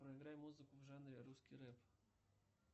проиграй музыку в жанре русский рэп